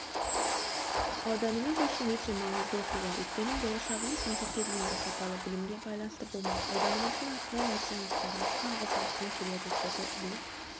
ауданымыз үшін өте маңызды оқиға өйткені болашағымыз мектепке дейінгі сапалы білімге байланысты болмақ ауданымыздың атынан меценаттарымызға алғыс айтқым келеді деді іле